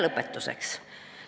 Lõpetuseks.